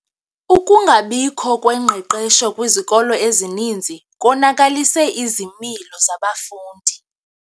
Ukungabikho kwengqeqesho kwizikolo ezininzi konakalise izimilo zabafundi.